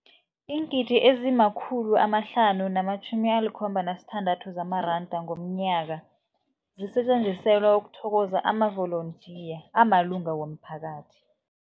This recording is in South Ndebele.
Iingidi ezima-576 zamaranda ngomnyaka zisetjenziselwa ukuthokoza amavolontiya amalunga womphakathi.